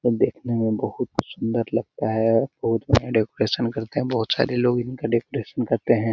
जो देखने में बहुत ही सुंदर लगता है बहुत बढिया डेकोरेशन करते हैं बहुत सारे लोग इनका डेकोरेशन करते हैं।